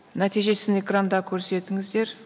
нәтижесін экранда көрсетіңіздер